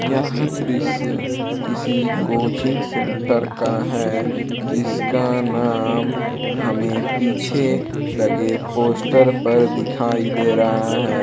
यह दृश्य किसी कोचिंग सेंटर का है जिसका नाम हमे पीछे लगे पोस्टर पर दिखाई दे रहा है।